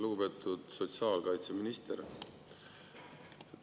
Lugupeetud sotsiaalkaitseminister!